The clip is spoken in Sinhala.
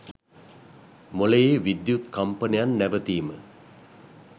මොළයේ විද්‍යුත් කම්පනයන් නැවතීම